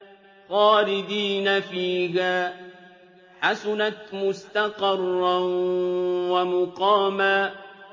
خَالِدِينَ فِيهَا ۚ حَسُنَتْ مُسْتَقَرًّا وَمُقَامًا